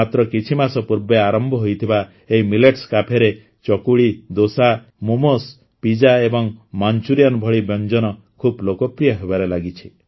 ମାତ୍ର କିଛି ମାସ ପୂର୍ବେ ଆରମ୍ଭ ହୋଇଥିବା ଏହି ମିଲେଟ୍ସ କ୍ୟାଫେରେ ଚକୁଳି ଦୋସା ମୋମୋସ୍ ପିଜ୍ଜା ଏବଂ ମାଂଚୁରିୟାନ୍ ଭଳି ବ୍ୟଞ୍ଜନ ଖୁବ ଲୋକପ୍ରିୟ ହେବାରେ ଲାଗିଛି